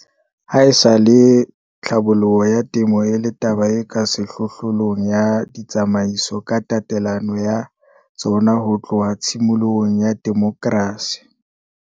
Haesale tlhabollo ya temo e le taba e ka sehlohlolong ya ditsamaiso ka tatelano ya tsona ho tloha tshimolohong ya demokrasi.